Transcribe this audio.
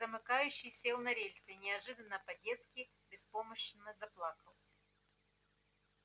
замыкающий сел на рельсы и неожиданно по-детски беспомощно заплакал